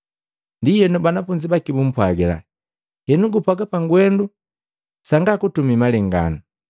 Ndienu banafunzi baki bumpwagila, “Henu gupwaga pagwendu sanga kutumii malenganu.